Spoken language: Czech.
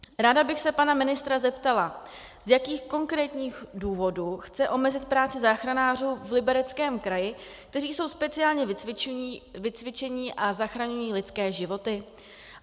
Ráda bych se pana ministra zeptala, z jakých konkrétních důvodů chce omezit práci záchranářů v Libereckém kraji, kteří jsou speciálně vycvičení a zachraňují lidské životy.